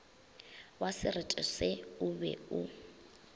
wasereto se o be o